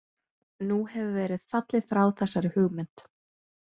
Nú hefur verið fallið frá þessari hugmynd.